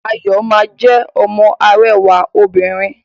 Ayọ ma jẹ ọmọ arẹwà òbinrín.